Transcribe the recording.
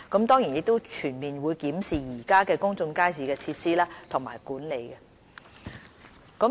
當然，我們也會全面檢視現有公眾街市的設施和管理。